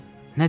Nə dedi?